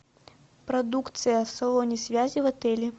продукция в салоне связи в отеле